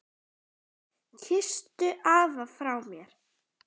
Kysstu afa frá mér.